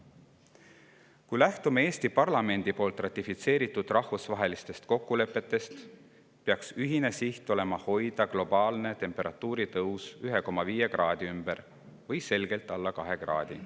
Kui lähtume Eesti parlamendi ratifitseeritud rahvusvahelistest kokkulepetest, peaks meie ühine siht olema hoida globaalse temperatuuri tõus 1,5 kraadi ümber või selgelt alla 2 kraadi.